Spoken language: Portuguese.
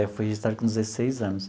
Eu fui registrado com dezesseis anos.